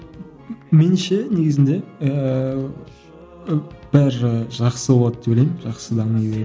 меніңше негізінде ііі бәрі жақсы болады деп ойлаймын жақсы